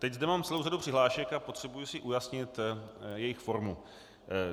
Teď zde mám celou řadu přihlášek a potřebuji si ujasnit jejich formu.